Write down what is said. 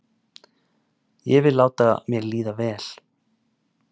Ég vil láta mér líða vel.